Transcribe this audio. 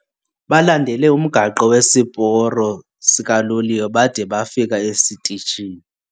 Balandele umgaqo wesiporo sikaloliwe bade bafika esitishini.